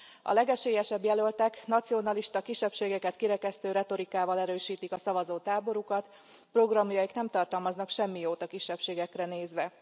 A legesélyesebb jelöltek nacionalista kisebbségeket kirekesztő retorikával erősítik a szavazótáborukat, programjaik nem tartalmaznak semmi jót a kisebbségekre nézve.